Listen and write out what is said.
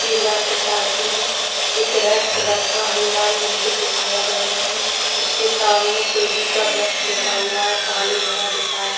के left side में एक रेड कलर का हनुमान मंदिर दिखाया गया है उसके सामने तुलसी का वृक्ष लगा हुआ हैं पानी भरा दिखाया--